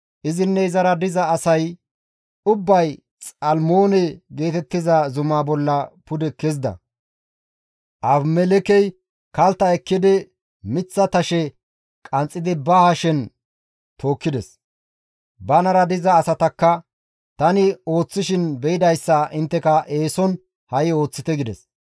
izinne izara diza asay ubbay Xalmoone geetettiza zumaa bolla pude kezida; Abimelekkey kaltta ekkidi miththa tashe qanxxidi ba hashen tookkides; banara diza asatakka, «Tani ooththishin beydayssa intteka eeson ha7i ooththite» gides.